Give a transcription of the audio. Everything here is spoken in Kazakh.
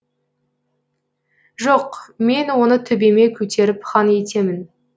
жоқ мен оны төбеме көтеріп хан етемін